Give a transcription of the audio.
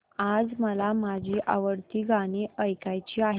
आज मला माझी आवडती गाणी ऐकायची आहेत